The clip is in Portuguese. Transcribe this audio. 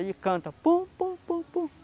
Ele canta pom-pom-pom-pom.